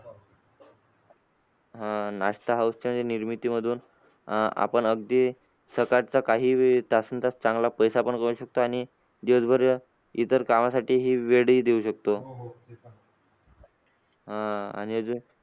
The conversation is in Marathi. आह नाश्ता house च्या निर्मिती मधून अह आपण अगदी सकाळच्या काही तासान तास चांगला पैसा पण कमवू शकतो आणि दिवसभर इतर कामासाठी ही वेळ ही देऊ शकतो. अं आणि अजून